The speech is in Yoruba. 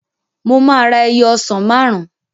Mo máa ra ẹyọ ọsàn máàrún